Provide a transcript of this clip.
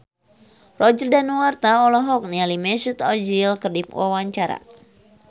Roger Danuarta olohok ningali Mesut Ozil keur diwawancara